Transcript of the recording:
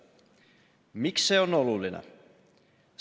Miks see on oluline?